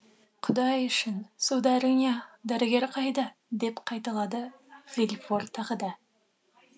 құдай үшін сударыня дәрігер қайда деп қайталады вильфор тағы да